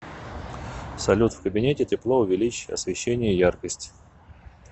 салют в кабинете тепло увеличь освещение яркость